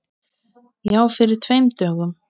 Já, fyrir tveim dögum.